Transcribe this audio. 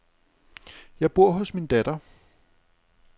Jeg bor hos min datter.